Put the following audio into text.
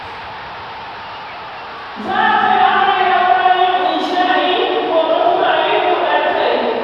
Za a kai amarya bayan isha'i, gobe kuma a yi buɗar kai.